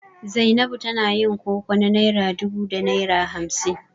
Zainabu tana yin koko na naira dubu da naira hamsin.